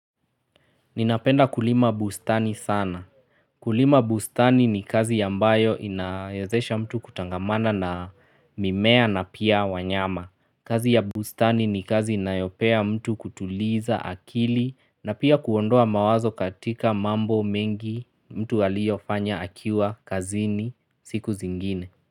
Ninapenda kulima bustani sana. Kulima bustani ni kazi ambayo inawezesha mtu kutangamana na mimea na pia wanyama. Kazi ya bustani ni kazi inayopea mtu kutuliza akili na pia kuondoa mawazo katika mambo mengi mtu alio fanya akiwa kazini siku zingine.